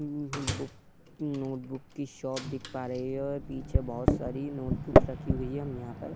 ह हम्म book notebook की शॉप देख पा रही है और पीछे बहुत सारी नोट बुक्स रखी हुई हैं हम यहाँ पर --